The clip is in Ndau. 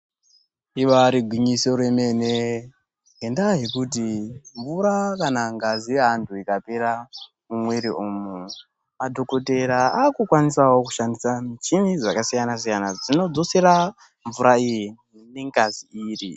Ibari gwinyisoo remene ngenda yekuti mvura kana ngazi yeanhu ikapera mumwiri umu madhokodheya akukwanisawo kushandisa michini dzakasiyanasiyana dzinodzosera mvura iyi nengazi iyi.